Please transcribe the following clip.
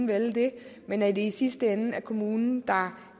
vælge det men at det i sidste ende er kommunen der